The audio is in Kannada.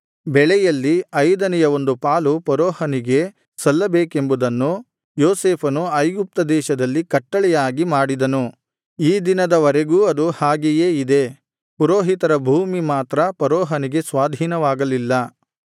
ಬೆಳೆಯಲ್ಲಿ ಐದನೆಯ ಒಂದು ಪಾಲು ಫರೋಹನಿಗೆ ಸಲ್ಲಬೇಕೆಂಬುದನ್ನು ಯೋಸೇಫನು ಐಗುಪ್ತ ದೇಶದಲ್ಲಿ ಕಟ್ಟಳೆಯಾಗಿ ಮಾಡಿದನು ಈ ದಿನದ ವರೆಗೂ ಅದು ಹಾಗೆಯೇ ಇದೆ ಪುರೋಹಿತರ ಭೂಮಿ ಮಾತ್ರ ಫರೋಹನಿಗೆ ಸ್ವಾಧೀನವಾಗಲಿಲ್ಲ